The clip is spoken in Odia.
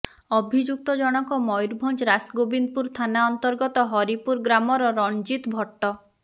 ଅଭିଯୁକ୍ତ ଜଣକ ମୟୂରଭଞ୍ଜ ରାସଗୋବିନ୍ଦପୁର ଥାନା ଅନ୍ତର୍ଗତ ହରିପୁର ଗ୍ରାମର ରଣଜିତ ଭଟ୍ଟ